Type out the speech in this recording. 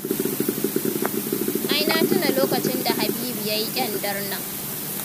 Ai na tuna lokacin da Habibu ya yi ƙyandar nan.